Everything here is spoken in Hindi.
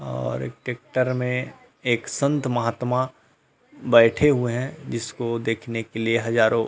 और एक ट्रेक्टर में एक संत महात्मा बैठे हुए है जिसको देखने के लिए हज़ारो --